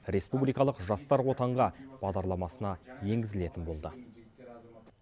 республикалық жастар отанға бағдарламасына енгізілетін болды